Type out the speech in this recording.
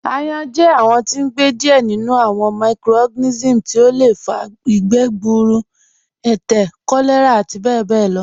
Ayán jẹ awọn tí n gbẹ díẹ̀ nínú awọn microorganisms tí ó lẹ fà gbúrù, ẹtẹ̀, kọ̀lẹ̀rà àti bẹbẹ̀ lọ